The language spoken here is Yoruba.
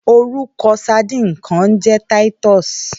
Órúkò sàdín kàn n jè titus